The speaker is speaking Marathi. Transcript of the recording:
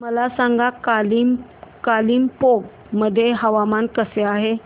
मला सांगा कालिंपोंग मध्ये हवामान कसे आहे